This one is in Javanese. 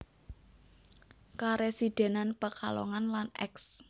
Karesidenan Pekalongan lan Eks